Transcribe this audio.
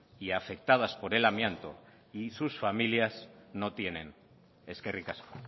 y afectadas por el amianto y sus familias no tienen eskerrik asko